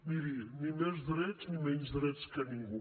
miri ni més drets ni menys drets que ningú